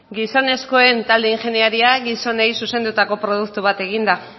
gizonezkoen talde ingenieria gizonei zuzendutako produktu bat eginda